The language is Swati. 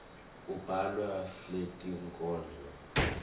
kubhalwa fletinkhondro